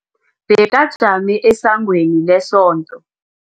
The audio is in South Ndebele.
Bekajame esangweni lesonto.